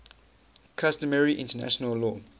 customary international law